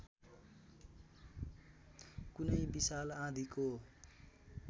कुनै विशाल आँधीको